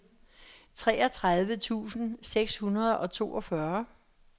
treogtredive tusind seks hundrede og toogfyrre